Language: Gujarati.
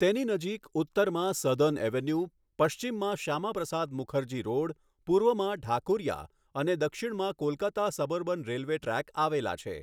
તેની નજીક ઉત્તરમાં સધર્ન એવન્યુ, પશ્ચિમમાં શ્યામાપ્રસાદ મુખર્જી રોડ, પૂર્વમાં ઢાકુરિયા અને દક્ષિણમાં કોલકાતા સબઅર્બન રેલવે ટ્રેક આવેલા છે.